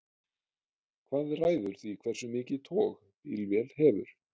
hvað ræður því hversu mikið tog bílvél hefur